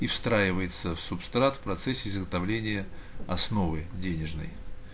и встраивается в субстрат в процессе изготовления основы денежной